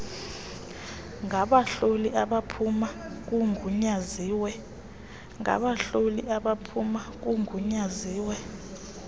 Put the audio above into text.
ngabahloli abaphuma kugunyaziwe